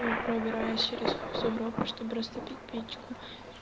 пробираюсь через сугробы чтобы растопить печку